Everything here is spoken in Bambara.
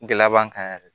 Gɛlɛya b'an kan yɛrɛ